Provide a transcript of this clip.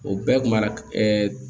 O bɛɛ mara